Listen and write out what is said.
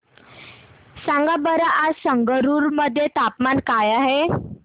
सांगा बरं आज संगरुर मध्ये तापमान काय आहे